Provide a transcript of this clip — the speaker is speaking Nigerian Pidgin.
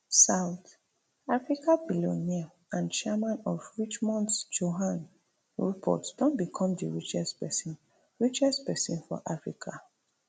south african billionaire and chairman of richemont johann rupert don become di richest pesin richest pesin for africa